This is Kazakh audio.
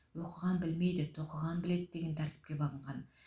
оқыған білмейді тоқыған біледі деген тәртіпке бағынған